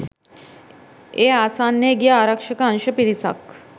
ඒ ආසන්නයේ ගිය ආරක්ෂක අංශ පිරිසක්